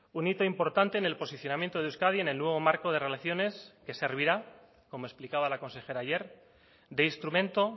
un hito importante en el posicionamiento de euskadi en el nuevo marco de relaciones que servirá como explicaba la consejera ayer de instrumento